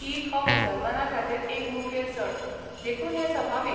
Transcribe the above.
ईद हो मुसलमानांखातीर एक मुखेल सण, देखून हें सभाविक.